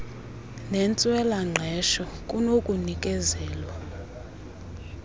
nentswela ngqesho kunokunikezela